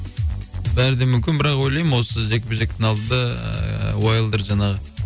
бәрі де мүмкін бірақ ойлаймын осы жекпе жектің алдында ыыы уайлдер жаңағы